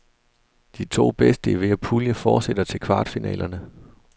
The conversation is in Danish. De to bedste i hver pulje fortsætter til kvartfinalerne.